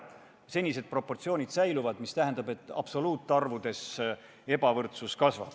Senised proportsioonid säilivad, mis tähendab, et absoluutarvudes ebavõrdsus kasvab.